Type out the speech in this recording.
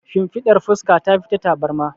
shinfiɗar fuska ta fi ta tabarma